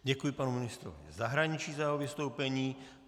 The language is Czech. Děkuji panu ministru zahraničí za jeho vystoupení.